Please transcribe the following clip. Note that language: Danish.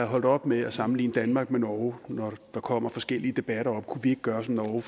holdt op med at sammenligne danmark med norge når der kommer forskellige debatter op kunne vi ikke gøre som norge